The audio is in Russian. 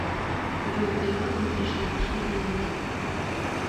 джой перевод не пришел что делать